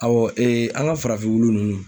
an ka farafin wulu ninnu.